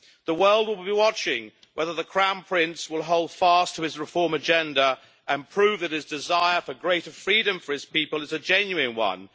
The world will be watching whether the Crown Prince will hold fast to his reform agenda and prove that his desire for greater freedom for his people is a genuine one.